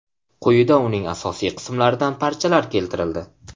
Quyida uning asosiy qismlaridan parchalar keltirildi.